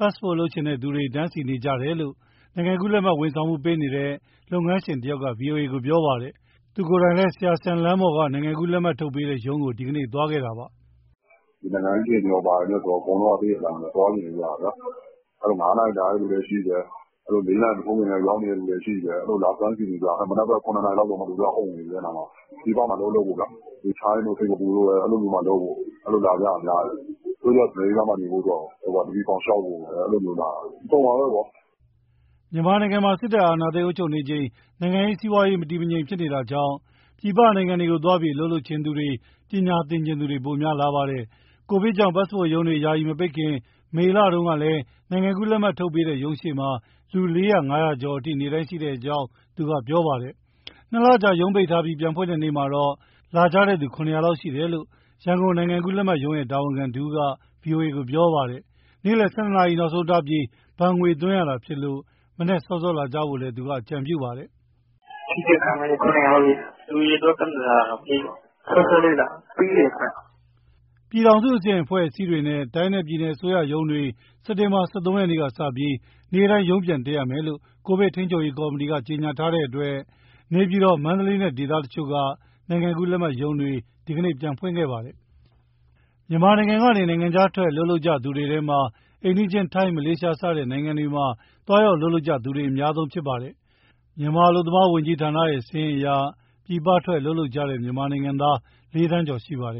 Passport လုပ်ချင်သူတွေ တန်းစီနေကြတယ်လို့ ပတ်စ်ပို့ဝန်ဆောင်မှုပေးနေတဲ့ လုပ်ငန်းရှင်တဦးက ဗွီအိုအေကို ပြောပါတယ်။ သူကိုယ်တိုင်လည်း ဆရာစံလမ်းပေါ်က နိုင်ငံကူးလက်မှတ် ထုတ်ပေးတဲ့ရုံးကို ဒီနေ့သွားခဲ့တာပါ။ “နိုင်ငံရေးအခြေအနေနဲ့ ဘာနဲ့ဆိုတော့ အကုန်လုံးက သိတဲ့အတိုင်းပဲ သွားချင်နေကြတာဗျာ။ ၅ နာရီ လာတဲ့သူလည်းရှိတယ်၊ ၄ နာရီ မထိုးခင်ကတည်းက ရောက်နေတဲ့သူလည်းရှိတယ်၊ အဲဒီလို လာတန်းစီနေကြတာ၊ မနက်ဘက် ၇ နာရီလောက်ဆို လူတွေကအုံနေပြီ အဲဒီနားမှာ။ ပြည်ပမှာ အလုပ်လုပ်ဖို့ဗျာ၊ ထိုင်းတို့၊ စင်္ကာပူတို့၊ အဲလိုမျိုးမှာလုပ်ဖို့၊ အဲဒီလိုလာကြတာများတယ်။ တချို့က အမေရိကားမှာ နေဖို့အတွက်ကို DV ဖောင် လျှောက်ဖို့ အဲလိုမျိုးလာတာ၊ အစုံပါပဲဗျာ။” မြန်မာနိုင်ငံမှာ စစ်တပ်အာဏာသိမ်း အုပ်ချုပ်နေချိန် နိုင်ငံရေး၊ စီးပွားရေး မတည်မငြိမ်ဖြစ်နေတာကြောင့် ပြည်ပနိုင်ငံတွေကို သွားပြီးအလုပ်လုပ်ချင်သူ၊ ပညာချင်သူတွေ ပိုပြီးများလာပါတယ်။ ကိုဗစ်ကြောင့် Passport ရုံးတွေ ယာယီ မပိတ်ခင် မေလတုန်းကလည်း နိုင်ငံကူးလက်မှတ်ထုတ်ပေးတဲ့ရုံးရှေ့မှာ လူ ၄၀၀၊ ၅၀၀ ကျော်အထိ နေ့တိုင်းရှိကြောင်း သူကပြောပါတယ်။ ၂ လကြာရုံးပိတ်ထားပြီး ပြန်ဖွင့်တဲ့ ဒီနေ့မှာတော့ လာကြသူ ၇၀၀ လောက်ရှိတယ်လို့ ရန်ကုန်နိုင်ငံကူးလက်မှတ်ရုံးရဲ့ တာဝန်ခံတဦးက ဗွီအိုအေကို ပြောပါတယ်။ နေ့လည် ၁၂ နာရီနောက်ဆုံးထားပြီး ဘဏ်ငွေသွင်းရတာဖြစ်လို့ မနက်စောစောလာကြဖို့လည်း သူက အကြံပြုပါတယ်။ “ ဒီနေ့ခန့်မှန်းခြေ ၇၀၀ လောက်ရှိတယ်၊ လူအရေအတွက် ကန့်သတ်ထားတာတော့ မရှိပါဘူး၊ စောစောလေးလာ၊ ပြီးတယ်ခင်ဗျ။” ပြည်ထောင်စုအဆင့် အဖွဲ့အစည်းတွေနဲ့ တိုင်းနဲ့ ပြည်နယ်အစိုးရရုံးတွေ စက်တင်ဘာ ၁၃ ရက်ကစပြီး နေ့တိုင်းရုံးပြန်တက်ရမယ်လို့ ကိုဗစ်ထိန်းချုပ်ရေး ကော်မတီက ကြေညာထားတဲ့အတွက် နေပြည်တော်၊ မန္တလေးနဲ့ ဒေသတချို့က နိုင်ငံကူးလက်မှတ်ရုံးတွေလည်း ဒီကနေ့ပြန်ဖွင့်ခဲ့ပါတယ်။ မြန်မာနိုင်ငံကနေ နိုင်ငံခြားထွက်အလုပ်လုပ်ကြသူတွေထဲမှာ အိမ်နီးချင်း ထိုင်း၊ မလေးရှားစတဲ့ နိုင်ငံတွေမှာ သွားရောက်အလုပ်လုပ်သူတွေ အများဆုံးဖြစ်ပါတယ်။ မြန်မာအလုပ်သမား ဝန်ကြီးဌာနရဲ့ စာရင်းအရ ပြည်ပထွက်အလုပ်လုပ်နေကြတဲ့ မြန်မာနိုင်ငံသား ၄ သန်းကျော် ရှိပါတယ်